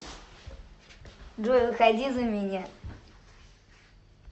джой выходи за меня